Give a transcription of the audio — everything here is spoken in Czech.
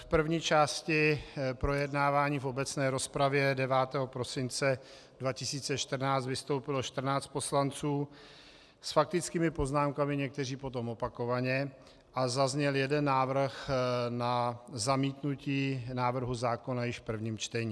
V první části projednávání v obecné rozpravě 9. prosince 2014 vystoupilo 14 poslanců s faktickými poznámkami, někteří potom opakovaně, a zazněl jeden návrh na zamítnutí návrhu zákona již v prvním čtení.